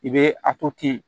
I bɛ a to ten